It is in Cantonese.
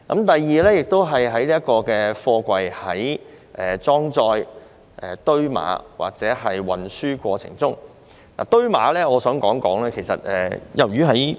第二方面關乎貨櫃在裝載、堆碼或運輸過程中的測試程序及規格。